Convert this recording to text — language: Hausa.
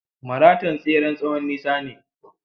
Maraton tseren tsowon nisa ne.